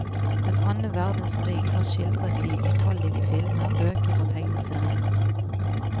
Den annen verdenskrig er skildret i utallige filmer, bøker og tegneserier.